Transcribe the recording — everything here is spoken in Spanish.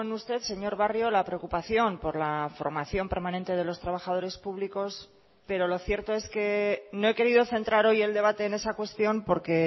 usted señor barrio la preocupación por la formación permanente de los trabajadores públicos pero lo cierto es que no he querido centrar hoy el debate en esa cuestión porque